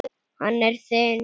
Hann er þinn.